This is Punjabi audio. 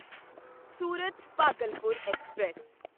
ਸੂਰਤ ਭਾਗਲਪੁਰ ਐਕਸਪ੍ਰੈਸ